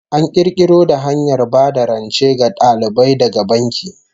An kirkiro da hanyar ba da rance ga dalibai daga banki